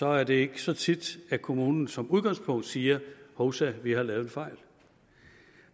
er det ikke så tit at kommunen som udgangspunkt siger hovsa vi har lavet en fejl